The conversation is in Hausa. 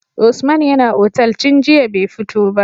Usman yAna otal tun jiya be fito ba